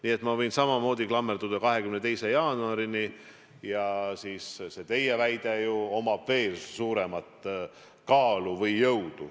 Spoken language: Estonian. Nii et ma võin samamoodi klammerduda 22. jaanuari, siis on sellel teie väitel ju veel suuremat kaal või jõud.